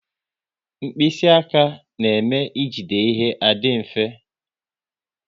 Mkpịsị aka na-eme e jide ihe adị mfe